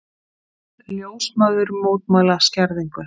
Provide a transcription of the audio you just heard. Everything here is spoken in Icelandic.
Ljósmæður mótmæla skerðingu